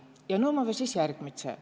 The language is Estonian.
Ja nuu ommava siis järgmitsõ.